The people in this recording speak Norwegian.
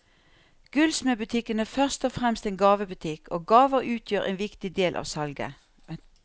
Gullsmedbutikken er først og fremst en gavebutikk, og gaver utgjør en viktig del av salget.